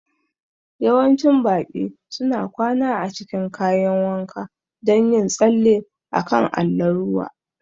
Yawancin baƙi suna kwana a cikin kayan wanka don yin tsalle a kan allon ruwa